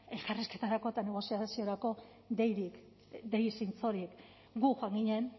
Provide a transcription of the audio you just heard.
elkarrizketarako eta negoziaziorako deirik dei zintzorik gu joan ginen